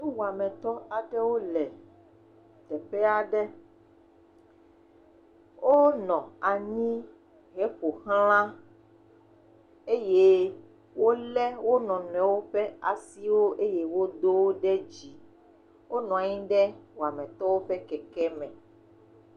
Nuwametɔ aɖewo le teƒe aɖe, wonɔ anyi heƒoxla eye wolé nɔ nɔnɔewo ƒe asiwo eye wodo wo ɖe dzi, wonɔ anyi ɖe wametɔwo ƒe keke me.